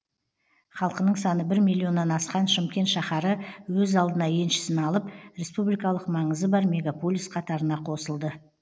халқының саны бір миллионнан асқан шымкент шаһары өз алдына еншісін алып республикалық маңызы бар мегаполис қатарына қосылды